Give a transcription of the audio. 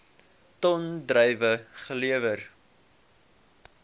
ton druiwe gelewer